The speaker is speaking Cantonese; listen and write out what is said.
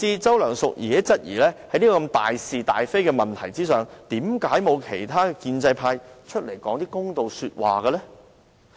周梁淑治甚至質疑，在這大事大非的問題上，為何沒有其他建制派說些公道話？